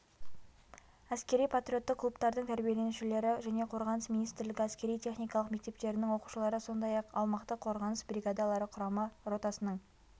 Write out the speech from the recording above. әскери-патриоттық клубтардың тәрбиеленушілері және қорғаныс министрлігі әскери-техникалық мектептерінің оқушылары сондай-ақ аумақтық қорғаныс бригадалары құрама ротасының